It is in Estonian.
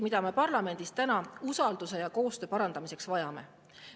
… mida me parlamendis usalduse ja koostöö parandamiseks vajame.